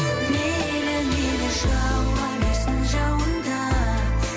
мейлі мейлі жауа берсін жауын да